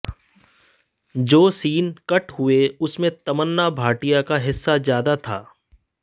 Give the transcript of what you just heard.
जो scene cut हुए उनमें तमन्ना भाटिया का हिस्सा ज्यादा था